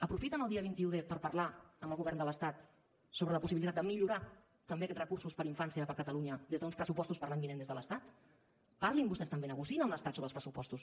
aprofiten el dia vint un d per parlar amb el govern de l’estat sobre la possibilitat de millorar també aquests recursos per a infància per a catalunya des d’uns pressupostos per a l’any vinent des de l’estat parlin vostès també negociïn amb l’estat sobre els pressupostos